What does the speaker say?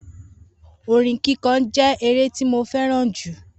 Orin kíkọ je ere ti mo feran ju